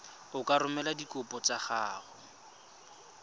ka romela dikopo tsa gago